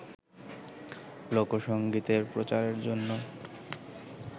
লোকসংগীতের প্রচারের জন্য